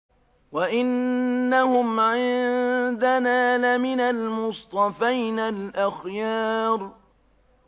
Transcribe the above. وَإِنَّهُمْ عِندَنَا لَمِنَ الْمُصْطَفَيْنَ الْأَخْيَارِ